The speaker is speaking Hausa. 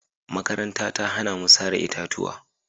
Makaranta ta hana mu sare itatuwa